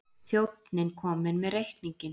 Þjónninn kom með reikninginn.